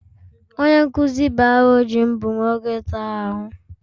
Onye nkuzi biology m bu nwoke tara ahụ.